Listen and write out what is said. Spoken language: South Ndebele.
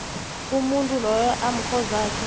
umuntu loyo amkhozakhe